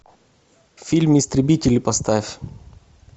фильм истребители поставь